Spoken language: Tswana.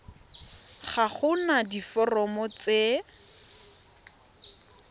ga go na diforomo tse